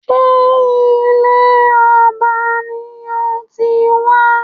Ṣé ìdílé ọba lo ti wa?